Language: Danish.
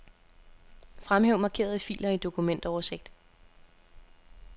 Fremhæv markerede filer i dokumentoversigt.